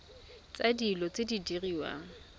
tsa dilo tse di diriwang